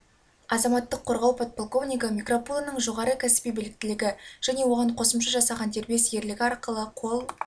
азаматтық қорғау подполковнигі микропулоның жоғары кәсіби біліктілігі және оған қосымша жасаған дербес ерлігі арқылы қол